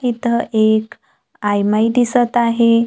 इथं एक आयमाय दिसत आहे.